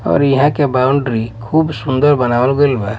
और इहाँ के बाउंड्री खूब सुंदर बनवाल गइल बा--